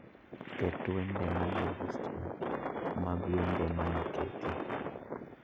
Ket wende manie listna mag wende monoketi